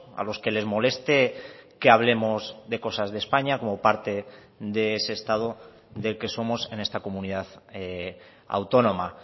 a los que les moleste que hablemos de cosas de españa como parte de ese estado del que somos en esta comunidad autónoma